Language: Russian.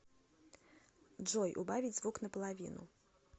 джой убавить звук на половину